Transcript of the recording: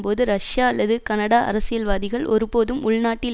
போது ரஷ்யா அல்லது கனடா அரசியல்வாதிகள் ஒருபோதும் உள்நாட்டில்